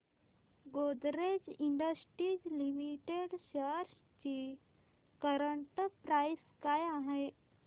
Godrej industries limited shares ची current price काय आहे